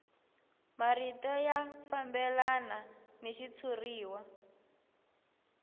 marito ya fambelana ni xitshuriwa